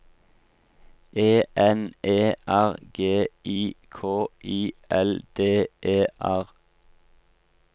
E N E R G I K I L D E R